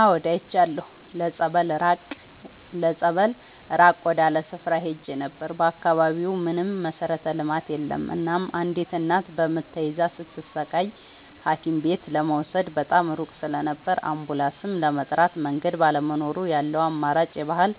አዎድ አይቻለሁ ለፀበል ራቅ ወዳለ ስፍራ ሄጄ ነበር። በአካባቢው ምንም መሠረተ ልማት የለም እናም አንዲት እናት በምጥ ተይዛ ስትሰቃይ ሀኪምቤት ለመውሰድ በጣም ሩቅ ስለነበር አንቡላስም ለመጥራት መንገድ ባለመኖሩ ያለው አማራጭ የባህል